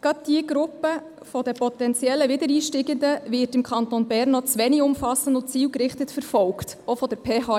Gerade diese Gruppe potenzieller Wiedereinsteigender wird im Kanton Bern noch zu wenig umfassend verfolgt, auch von der PH.